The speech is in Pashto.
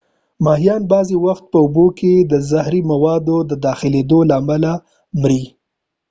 ماهیان بعضی وخت په اوبو کې د زهری موادو د داخلیدو له امله مري